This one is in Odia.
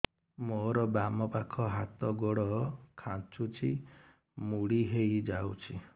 ମୋର ବାମ ପାଖ ହାତ ଗୋଡ ଖାଁଚୁଛି ମୁଡି ହେଇ ଯାଉଛି